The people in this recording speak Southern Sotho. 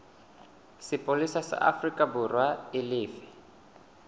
sepolesa sa aforikaborwa e lefe